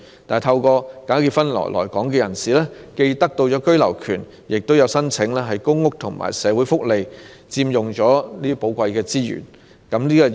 但是，透過假結婚來港的人士既獲得居留權，有些還申請公屋和社會福利，佔用香港的寶貴資源。